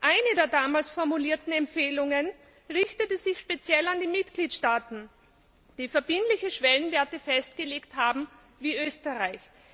Eine der damals formulierten Empfehlungen richtete sich speziell an die Mitgliedstaaten, die verbindliche Schwellenwerte festgelegt haben, wie Österreich.